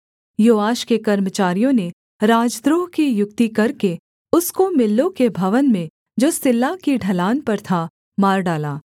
योआश के कर्मचारियों ने राजद्रोह की युक्ति करके उसको मिल्लो के भवन में जो सिल्ला की ढलान पर था मार डाला